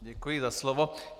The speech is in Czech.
Děkuji za slovo.